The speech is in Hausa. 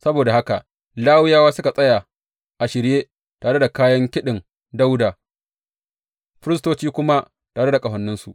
Saboda haka Lawiyawa suka tsaya a shirye tare da kayan kiɗin Dawuda, firistoci kuma tare da ƙahoninsu.